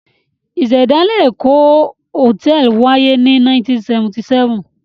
Ìṣẹ̀dálẹ̀ Èkó Hòtẹ́ẹ́lì wáyé ní 1977.